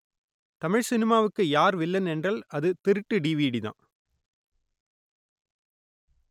தமிழ் சினிமாவுக்கு யார் வில்லன் என்றால் அது திருட்டு டிவிடிதான்